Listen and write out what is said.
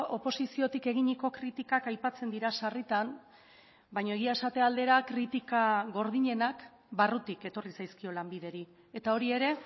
oposiziotik eginiko kritikak aipatzen dira sarritan baina egia esate aldera kritika gordinenak barrutik etorri zaizkio lanbideri eta hori ere